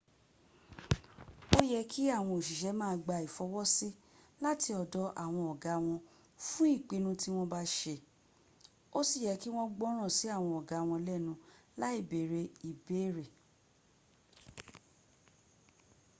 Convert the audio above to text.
ó yé kí àwọn òṣìṣẹ́ ma gba ìfọwọ́sí láti ọ̀dọ̀ àwọn ọ̀gá wọn fún ìpinu tí wọ́n bá ṣe ó sì yẹ kí wọ́n gbọ́nràn sí àwọn ọ̀gá wọn lẹ́nu láì bèrè ìbéèrè